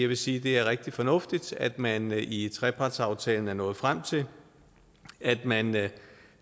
vil sige at det er rigtig fornuftigt at man i trepartsaftalen er nået frem til at man